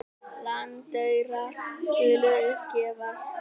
Landaurar skulu upp gefast.